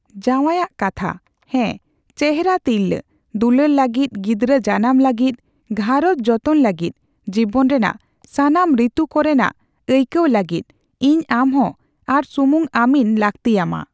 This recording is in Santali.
ᱡᱟᱸᱣᱟᱭ ᱟᱜ ᱠᱟᱛᱷᱟ; ᱦᱮ ᱪᱮᱦᱨᱟ ᱛᱤᱨᱞᱟᱹ, ᱫᱩᱞᱟᱹᱲ ᱞᱟᱹᱜᱤᱫ, ᱜᱤᱫᱽᱨᱟᱹ ᱡᱟᱱᱟᱢ ᱞᱟᱹᱜᱤᱫ, ᱜᱷᱟᱸᱨᱚᱡᱽ ᱡᱚᱛᱚᱱ ᱞᱟᱹᱜᱤᱫ, ᱡᱤᱵᱚᱱ ᱨᱮᱱᱟᱜ ᱥᱟᱱᱟᱢ ᱨᱤᱛᱩ ᱠᱚᱨᱮᱱᱟᱜ ᱟᱹᱭᱠᱟᱹᱣ ᱞᱟᱹᱜᱤᱫ, ᱤᱧ ᱟᱢᱦᱚᱸ ᱟᱨ ᱥᱩᱢᱩᱝ ᱟᱢᱤᱧ ᱞᱟᱹᱠᱛᱤᱟᱢᱟ ᱾